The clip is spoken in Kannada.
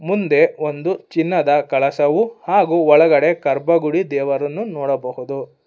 ಮುಂದೆ ಒಂದು ಚಿನ್ನದ ಕಳಸವು ಹಾಗೂ ಒಳಗಡೆ ಗರ್ಭಗುಡಿ ದೇವರನ್ನು ನೋಡಬಹುದು.